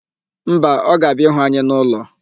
Mba, ọ ga-abịa ịhụ anyị n'ụlọ.